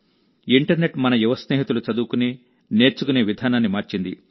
internet మన యువ స్నేహితులు చదువుకునే నేర్చుకునే విధానాన్ని మార్చింది